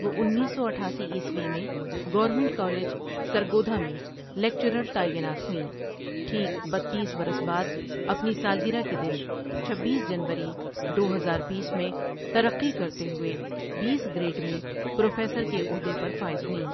وہ انیس سو اٹھاسی عیسوی میں گورنمنٹ کالج سرگودھا میں لیکچرر تعینات ہوئیں ٹھیک بیتیس برس بعد اپنی سالگرہ کے دن چبیس جنوری دو ہزار بیس میں ترقی کرتے ہوئے بیس گریڈ میں پروفیسر کے عہدے پر فائز ہوئیں ۔